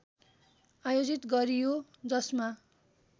आयोजित गरियो जसमा